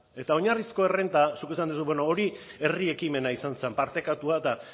eta oinarrizko errenta zuk esan duzun bueno hori herri ekimena izan zen partekatua